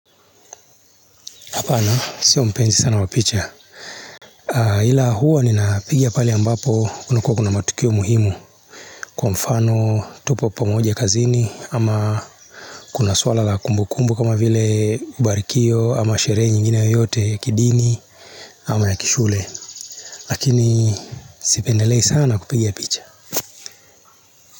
Hapana, sio mpenzi sana wa picha. Ila huwa ninapigia pale ambapo kunakua kuna matukio muhimu. Kwa mfano, tupo pamoja kazini, ama kuna swala la kumbukumbu kama vile ubarikio, ama sherehe nyingine yoyote ya kidini, ama ya kishule. Lakini sipendelei sana kupiga picha.